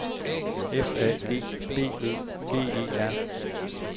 F A G B Ø G E R